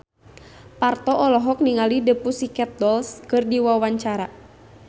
Parto olohok ningali The Pussycat Dolls keur diwawancara